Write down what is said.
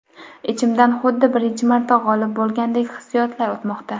Ichimdan xuddi birinchi marta g‘olib bo‘lgandek hissiyotlar o‘tmoqda.